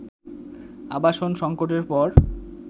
আবাসন সংকটের পর